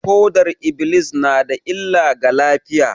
Fodar -iblis na da illa ga lafiya